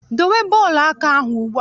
Dowe bọọlụ aka ahụ ugbu a!